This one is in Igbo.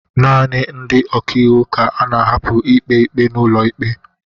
naanị ndị ọka iwu ka a na-ahapụ ikpe ikpe n'ụlọ ikpe